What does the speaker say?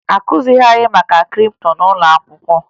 Akụzighi anyị maka kripto n'ụlọ akwụkwọ